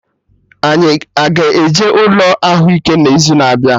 Anyị a-ga eje ụlọ ahụike n'izuna abịa?